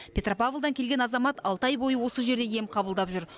петропавлдан келген азамат алты ай бойы осы жерде ем қабылдап жүр